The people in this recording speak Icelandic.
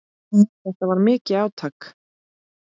Þetta var mikið átak.